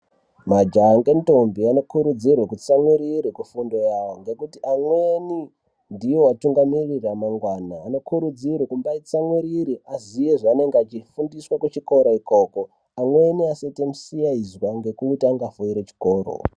Majaha ngendombi anokurudzirwe kutsamwirire kufundo yawo ngekuti amweni ndiwo atungamiriri emangwana anokurudzirwe kumbayi tsamwirire aziye zvaanenge achifundiswa kuchikora ikoko amweni asaite musiyaizwa ngekuti angafoire chikoro.